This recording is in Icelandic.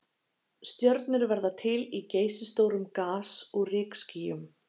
stjörnur verða til í geysistórum gas og rykskýjum